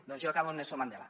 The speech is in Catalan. doncs jo acabo amb nelson mandela